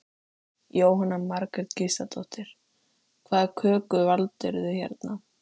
Jóhanna Margrét Gísladóttir: Hvaða köku valdirðu hérna?